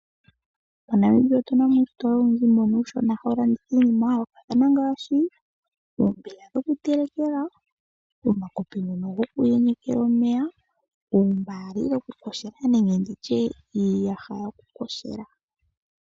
MoNambia otuna mo uusitola owundji mbono uushona hawu landitha iinima ya yoolokathana ngaashi oombiga dhoku telekela, omakopi ngono goku yenyekela omeya, ombali yoku koshela nenge nditye iiyaha yoku koshela.